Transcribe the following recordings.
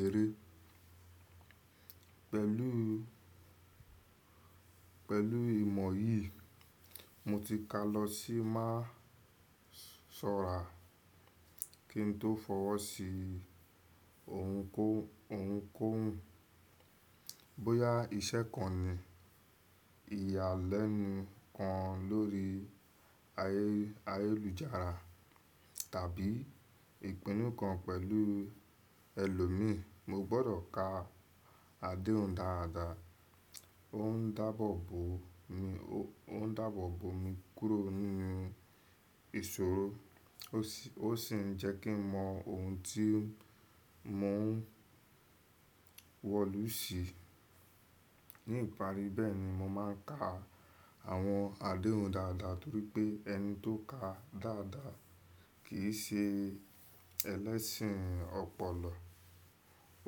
eré pẹ̀lú ìmọ̀ yìí, mo ti ka lọ sí má sọ̀rà kí n tó fọwọ́ sí ohunkóhun. Bóyá iṣẹ́ kan ni, ìyàlẹ́nu kan lórí ayélujára tàbí ìpinnu kan pẹ̀lú ẹlòmíì, mo gbọdọ̀ ka àdéhùn dáadáa. Ó ń dáàbò bo mi kúrò nínú ìṣòro, ó sì ń jẹ́ kí n mọ ohun tí mò ń wọ̀lú sí. Ní ìparí bẹ́ẹ̀ni mo máa ń ka àwọn àdéhùn dáadáa torí pé ẹni tó ka dáadáa kì í ṣe ẹlẹ́sìn ọpọlọ.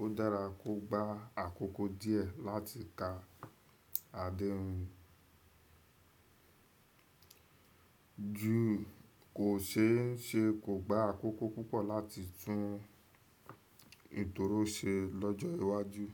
Ó dára kó gba àkókò díẹ̀ láti ka àdéhùn ju kò ṣe é ṣe kò gba àkókò púpọ̀ láti tún ìtòró ṣe lọ́jọ́ iwájú.